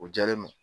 O diyalen don